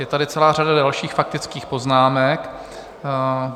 Je tady celá řada dalších faktických poznámek.